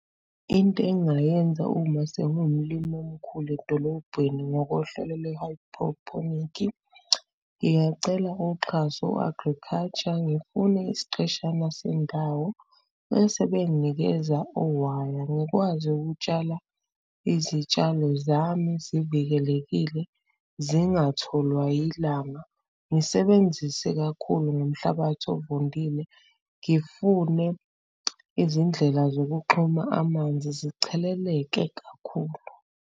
Into engingayenza uma sengiwumlimi omkhulu edolobheni ngokohlelo lwe-hydroponic, ngingacela uxhaso u-agriculture ngifune isiqeshana sendawo bese benginikeza owaya ngikwazi ukutshala izitshalo zami zivikelekile, zingatholwa yilanga. Ngisebenzise kakhulu ngomhlabathi ovundile. ngifune izindlela zokuxhuma amanzi zicheleleke kakhulu.